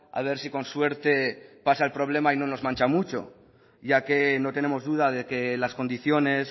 a ver si con suerte pasa el problema y no nos mancha mucho ya que no tenemos duda de que las condiciones